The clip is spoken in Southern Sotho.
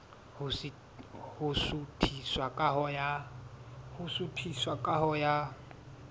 ho suthisa ka ho ya